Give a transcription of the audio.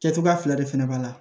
Kɛ cogoya fila de fana b'a la